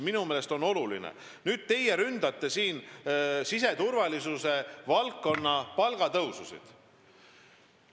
Te ründate siin siseturvalisuse valdkonna palgatõususid.